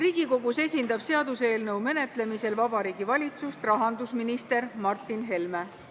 Seaduseelnõu menetlemisel Riigikogus esindab Vabariigi Valitsust rahandusminister Martin Helme.